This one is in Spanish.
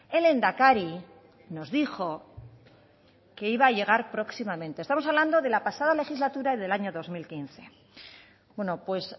el lehendakari nos dijo que iba a llegar próximamente estamos hablando de la pasada legislatura en el año dos mil quince bueno pues